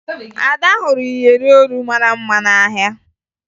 Ada hụrụ iyeri olu mara mma n'ahịa